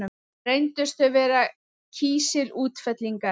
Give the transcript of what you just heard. Reyndust þau vera kísilútfellingar.